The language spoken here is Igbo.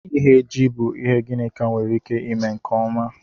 Ighe ji bụ ihe Ginika nwere ike ime nke ọma